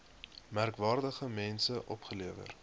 merkwaardige mense opgelewer